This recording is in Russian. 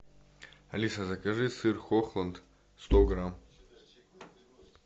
алиса закажи сыр хохланд сто грамм